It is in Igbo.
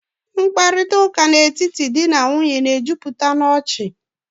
Mkparịtaụ́ká n'etiti di na nwunye na-ejupụta n'ọchị